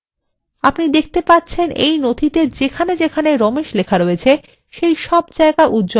আপনি দেখতে পাচ্ছেন you নথিতে যেখানে যেখানে ramesh লেখা রয়েছে সেই সব জায়গা উজ্জ্বল হয়ে গেছে